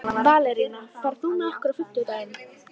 Valería, ferð þú með okkur á fimmtudaginn?